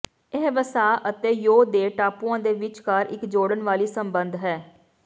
ਇਹ ਵਸਾ ਅਤੇ ਯੋ ਦੇ ਟਾਪੂਆਂ ਦੇ ਵਿਚਕਾਰ ਇੱਕ ਜੋੜਨ ਵਾਲੀ ਸੰਬੰਧ ਹੈ